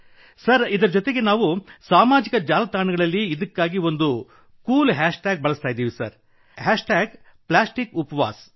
sir ಇದರ ಜೊತೆಗೆ ನಾವು ಸಾಮಾಜಿಕ ಜಾಲತಾಣಗಳಲ್ಲಿ ಇದಕ್ಕಾಗಿ ಒಂದು ಕೂಲ್ ಹ್ಯಾಶ್ ಟ್ಯಾಗ್ ಬಳಸಿದ್ದೇವೆ ಪ್ಲಾಸ್ಟಿಕಪ್ವಾಸ್